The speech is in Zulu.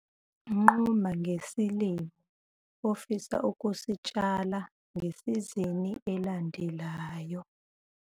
Nquma ngesilimo ofisa ukusitshala ngesizini elandelayo.